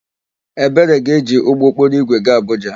Ebere ga-eji ụgbọokporoigwe gaa Abụja.